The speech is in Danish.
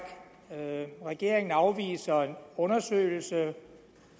regeringen afviser en undersøgelse